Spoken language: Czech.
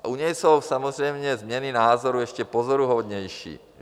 A u něj jsou samozřejmě změny názorů ještě pozoruhodnější.